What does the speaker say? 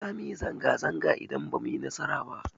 Za mu yi zanga-zanga idan ba mu yi nasara ba.